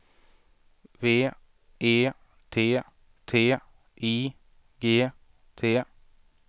V E T T I G T